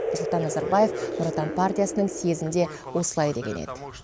нұрсұлтан назарбаев нұр отан партиясының съезінде осылай деген еді